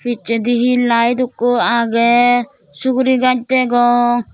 pijsedi hi lite ekko agey sugurigaz degong.